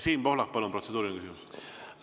Siim Pohlak, palun, protseduuriline küsimus!